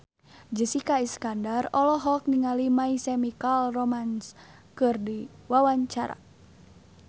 Jessica Iskandar olohok ningali My Chemical Romance keur diwawancara